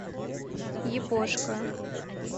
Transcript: япошка